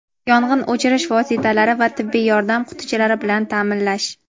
yong‘in o‘chirish vositalari va tibbiy yordam qutichalari bilan taʼminlash;.